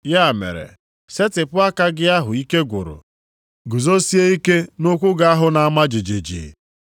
Ya mere, setịpụ aka gị ahụ ike gwụrụ. Guzosie ike nʼụkwụ gị ahụ na-ama jijiji.